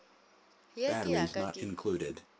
ye ke ya ka ke